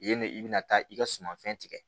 Yen ne i bɛna taa i ka sumanfɛn tigɛ